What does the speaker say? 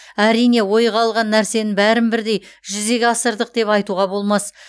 әрине ойға алған нәрсенің бәрін бірдей жүзеге асырдық деп айтуға болмас